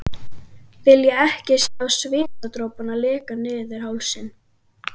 Vilja ekki sjá svitadropana leka niður hálsinn.